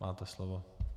Máte slovo.